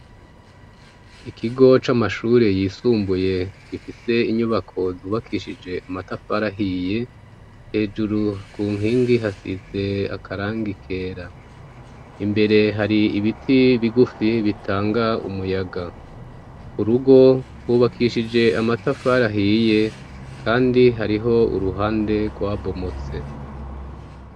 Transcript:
ikigo c'amashuri yisumbuye gifise inyubako zubakishije amatafari ahiye hejuru ku nkingi hasize akarangi kera imbere hari ibiti bigufi bitanga umuyaga ku rugo hubakishije amatafari ahiye kandi hariho uruhande rwa bomotse